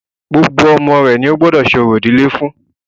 Gbogbo ọmọ rẹ ní o gbọ́dọ̀ ṣe orò ìdílé fún.